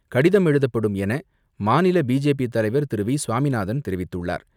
கடிதம் எழுதப்படும் என மாநில பிஜேபி தலைவர் திரு.வி.சுவாமிநாதன் தெரிவித்துள்ளார்.